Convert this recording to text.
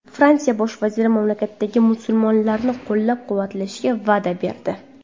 Fransiya bosh vaziri mamlakatdagi musulmonlarni qo‘llab-quvvatlashga va’da berdi.